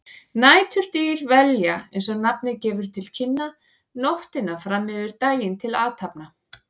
Næturdýr velja, eins og nafnið gefur til kynna, nóttina fram yfir daginn til athafna.